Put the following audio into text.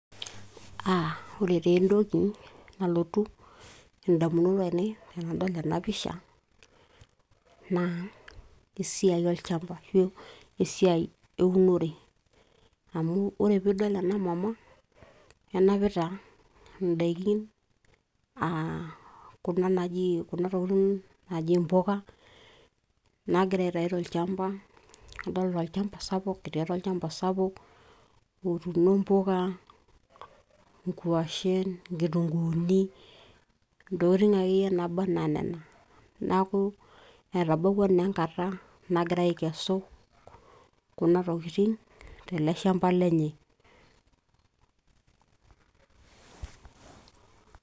aa ore taa entoki nalotu indamunot ainei tenadol ena pisha naa esiai olchamba ashu esiai eunore amu ore piidol ena mama enapita indaikin aa kuna naji, kuna tokitin naaji impuka naagira aitai tolchamba adolta olchamba sapuk etii atua olchamba sapuk otuuno mpuka, nkuashen, inkitunguuni ntokitin akeyie naaba anaa nena neeku etabawua naa enkata nagira aikesu kuna tokiting tele shamba lenye.